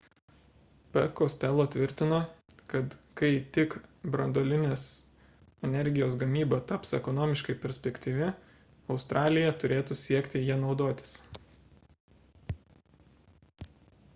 p costello tvirtino kad kai tik branduolinės energijos gamyba taps ekonomiškai perspektyvi australija turėtų siekti ja naudotis